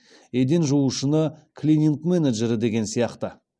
еден жуушыны клининг менеджері деген сияқты